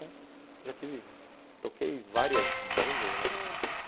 É. Já tive... toquei várias bandas, né? ãh